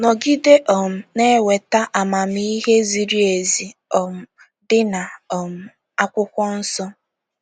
Nọgide um na - enweta amamihe ziri ezi um dị na um akwụkwọ nsọ.